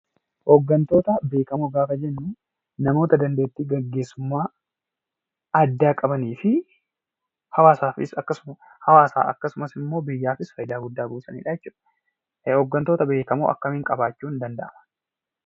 Hoggantoota beekamoo gaafa jennu namoota dandeettii gaggeessummaa addaa qabanii fi hawwaasaafis akkasumas biyyaafis bu'aa guddaa buusaaniidha jechuudha. Hoggantoota beekamoo akkamiin qabaachuun danda'ama?